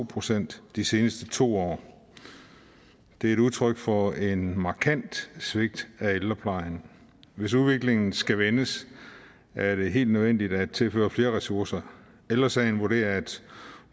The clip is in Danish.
procent de seneste to år det er udtryk for et markant svigt af ældreplejen hvis udviklingen skal vendes er det helt nødvendigt at tilføre flere ressourcer ældre sagen vurderer at